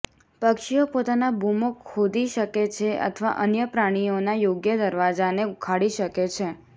પક્ષીઓ પોતાના બૂમો ખોદી શકે છે અથવા અન્ય પ્રાણીઓના યોગ્ય દરવાજાને ઉખાડી શકે છે